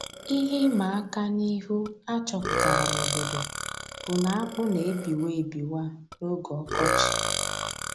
Ihe ịmaka n'ihu a chọpụtara n'obodo bụ na akpụ na-ebiwa ebiwa n'oge ọkọchị